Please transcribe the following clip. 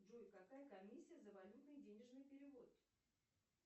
джой какая комиссия за валютный денежный перевод